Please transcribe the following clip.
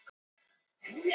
Fosshóli